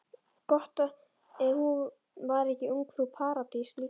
Gott ef hún var ekki ungfrú Paradís líka.